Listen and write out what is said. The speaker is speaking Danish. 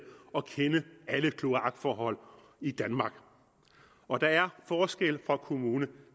og kende alle kloakforhold i danmark og der er forskel fra kommune